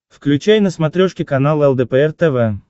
включай на смотрешке канал лдпр тв